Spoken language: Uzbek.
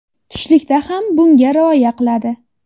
Tushlikda ham bunga rioya qiladi.